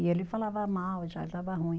E ele falava mal, já estava ruim.